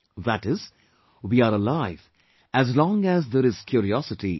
That is, we are alive as long as there is curiosity in us